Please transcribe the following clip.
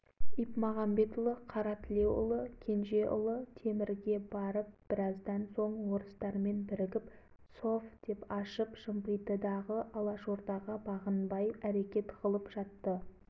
бұлар өзара сөйлесіп ипмағамбетұлы кенжеұлы қаратілеуұлын темір уезіне жіберді қасаболатұлы мырзағалиұлы әлиасқар әлібекұлын орал қаласына жіберді